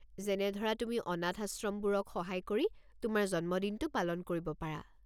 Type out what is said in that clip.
যেনে ধৰা তুমি অনাথাশ্ৰমবোৰক সহায় কৰি তোমাৰ জন্মদিনটো পালন কৰিব পাৰা।